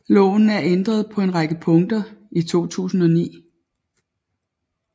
Loven er ændret på en række punkter i 2009